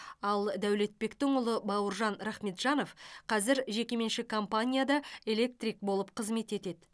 ал дәулетбектің ұлы бауыржан рахметжанов қазір жекеменшік компанияда электрик болып қызмет етеді